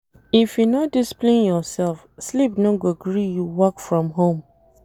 If you no discipline yoursef, sleep no go gree you work from home.